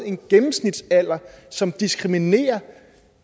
en gennemsnitsalder som diskriminerer